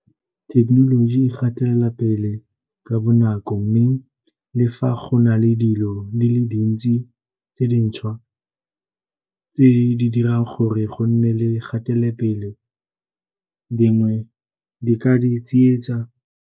Thekenoloji e gatelela pele ka bonako mme le fa go na le dilo di le dintsi tse dintšhwa tse di dirang gore go nne le kgatelopele, dingwe di ka di tsietsa.